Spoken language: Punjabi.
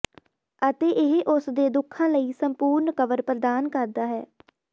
ਅਤੇ ਇਹ ਉਸ ਦੇ ਦੁਖਾਂ ਲਈ ਸੰਪੂਰਣ ਕਵਰ ਪ੍ਰਦਾਨ ਕਰਦਾ ਹੈ